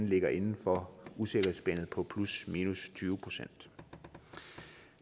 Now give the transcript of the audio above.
ligger inden for usikkerhedsspændet på plusminus tyve procent